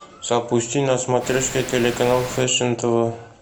запусти на смотрешке телеканал фешен тв